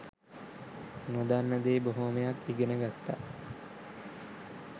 නොදන්න දේ බොහොමයක් ඉගෙන ගත්ත